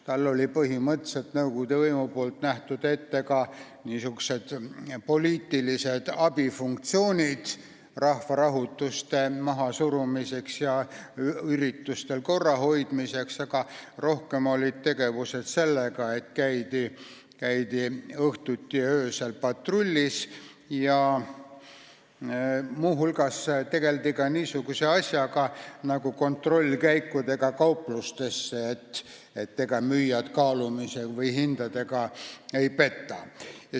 Talle oli nõukogude võim põhimõtteliselt ette näinud ka poliitilised abifunktsioonid rahvarahutuste mahasurumiseks ja üritustel korrahoidmiseks, aga rohkem olid tegevused sellised, et käidi õhtuti ja öösel patrullis ja muu hulgas tegeldi niisuguse asjaga nagu kontrollkäigud kauplustesse, et vaadata, ega müüjad kaalumise või hindadega ei peta.